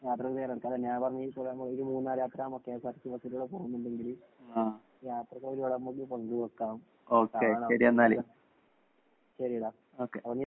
യാത്രയ്ക്ക് തയ്യാറെടുക്കാം. അതന്നെ ഒരു മൂന്നാര്‍ യാത്രയാകുമ്പോ കെഎസ്ആര്‍ടിസി ബസിലൂടെ പോകുന്നുണ്ടെങ്കില് യാത്രയ്ക്ക് ഒരുപാട് നമുക്ക് പങ്കുവെയ്ക്കാം. കാണാം നമുക്ക്. ശെരിടാ അപ്പ നീ